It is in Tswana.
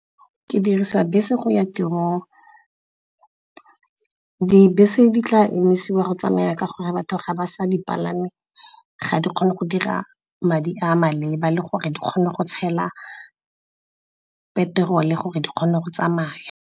Ke dirisa bese go ya tirong, dibese di tla emisiwa go tsamaya ka gore batho ga ba sa dipalame ga di kgone go dira madi a maleba le gore di kgone go tshela petrol-e, gore di kgone go tsamaya.